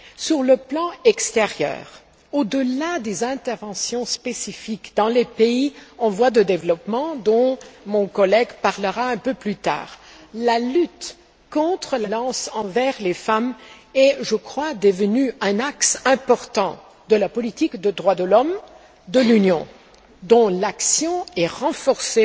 Sur le plan extérieur, au delà des interventions spécifiques dans les pays en voie de développement, dont mon collègue parlera un peu plus tard, la lutte contre la violence envers les femmes est devenue un axe important de la politique des droits de l'homme de l'Union, dont l'action est renforcée